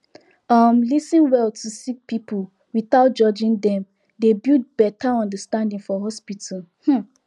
um lis ten well to sik pipul without judging dem dey build beta understanding for hospital um